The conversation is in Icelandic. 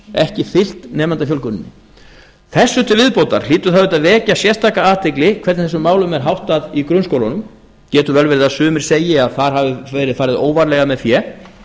ekki fylgt nemendafjölguninni þessu til viðbótar hlýtur það auðvitað að vekja sérstaka athygli hvernig þessum málum er háttað í grunnskólunum getur vel verið að sumir segi að þar hafi verið farið óvarlega með fé